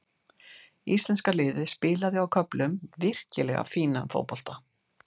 Íslenska liðið spilaði á köflum virkilega fínan fótbolta.